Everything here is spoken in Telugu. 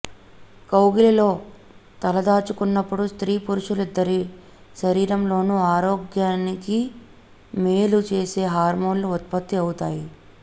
కౌగిలిలో తలదాచుకున్నప్పుడు స్త్రీ పురుషులిద్దరి శరీరంలోనూ ఆరోగ్యానికి మేలు చేసే హార్మోన్లు ఉత్పత్తి అవుతాయి